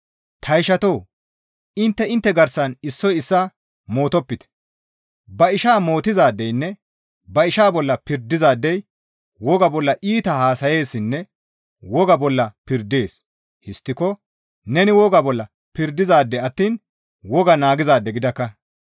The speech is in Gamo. Ta ishatoo! Intte intte garsan issoy issaa mootopite; ba ishaa mootizaadeynne ba ishaa bolla pirdizaadey wogaa bolla iita haasayeessinne wogaa bolla pirdees; histtiko neni wogaa bolla pirdizaade attiin wogaa naagizaade gidakka.